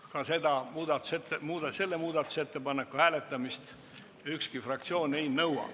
Ka selle muudatusettepaneku hääletamist ükski fraktsioon ei nõua.